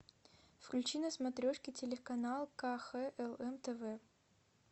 включи на смотрешке телеканал кхлм тв